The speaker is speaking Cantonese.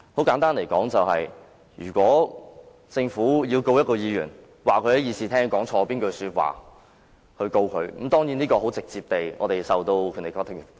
簡單而言，即使政府打算因議員在議事廳上一句錯誤的說話而作出起訴，議員是直接受《條例》保障的。